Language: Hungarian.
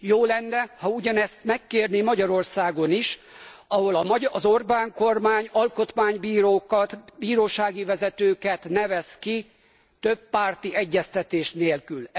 Jó lenne, ha ugyanezt kérné Magyarországon is, ahol az Orbán kormány alkotmánybírókat, bírósági vezetőket nevez ki többpárti egyeztetés nélkül.